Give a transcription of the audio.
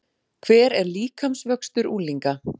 Hver er líkamsvöxtur unglinga?